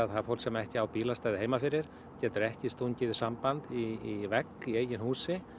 það er fólk sem ekki á bílastæði heima fyrir getur ekki stungið í samband í vegg í húsi